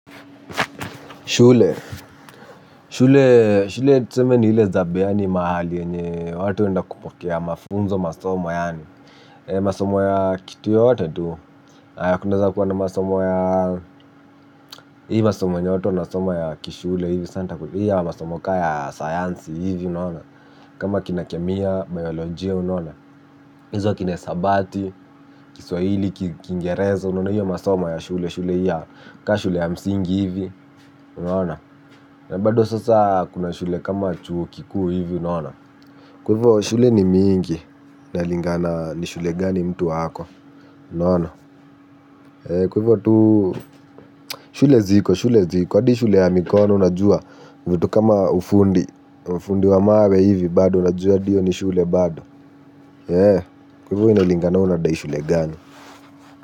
Shule, shule tuseme ni ile zabe yani mahali yenye watu huenda kupokea mafunzo masomo yaani masomo ya kitu yoyote tu, kunaeza kuwa na masomo ya hii masomo nyoto, masomo ya kishule hivi, saa nitaku, hii ya masomo kaa ya sayansi hivi, unaona. Kama kina kemia, bayolojia, unaona hizo kina hesabati, kiswahili, kiingereza, unaona hiyo masomo ya shule, shule hii ya, kaa shule ya msingi hivi, unaona. Na bado sasa kuna shule kama chuo kikuu hivi unaona. Kwa hivo shule ni mingi. Inalingana ni shule gani mtu ako. Unaona, kwa hivo tu shule ziko, shule ziko, hadi shule ya mikono unajua. Vitu kama ufundi. Fundi wa mawe hivyo bado unajua hadi hiyo ni shule bado. Kwa hivo inalingana we unadai shule gani.